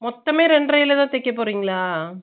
மொத்தமே ரெண்டரல தான் தைக்க போறிங்களா ?